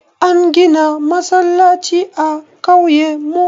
An gina masallaci a ƙauye mu.